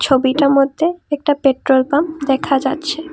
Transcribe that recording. ছবিটা মধ্যে একটা পেট্রোল পাম্প দেখা যাচ্ছে ।